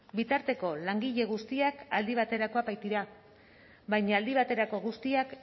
bitarteko langile guztiak aldi baterakoak baitira baina aldi baterako guztiak